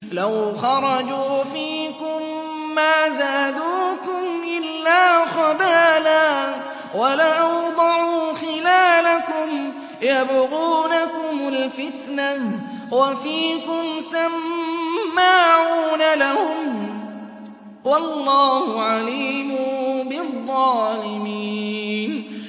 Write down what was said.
لَوْ خَرَجُوا فِيكُم مَّا زَادُوكُمْ إِلَّا خَبَالًا وَلَأَوْضَعُوا خِلَالَكُمْ يَبْغُونَكُمُ الْفِتْنَةَ وَفِيكُمْ سَمَّاعُونَ لَهُمْ ۗ وَاللَّهُ عَلِيمٌ بِالظَّالِمِينَ